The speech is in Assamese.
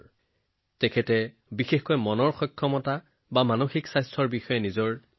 তেওঁ সুস্থতাৰ ওপৰত নিজৰ মতামত প্ৰকাশ কৰিছিল বিশেষকৈ মানসিক সুস্থতাৰ ওপৰত